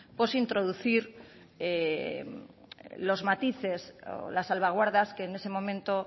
introducir los matices o las salvaguardas que en ese momento